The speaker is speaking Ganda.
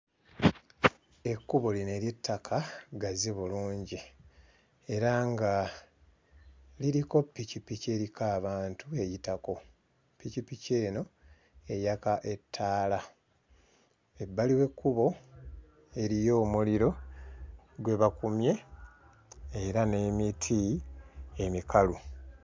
Ekkubo lino ery'ettaka ggazi bulungi era nga liriko ppikipiki eriko abantu eyitako. Ppikipiki eno eyaka ettaala. Ebbali w'ekkubo eriyo omuliro gwe bakumye era n'emiti emikalu.